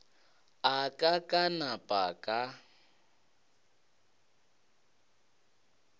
a ka ka napa ka